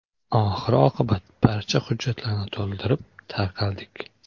Oxir-oqibat barcha hujjatlarni to‘ldirib, tarqaldik.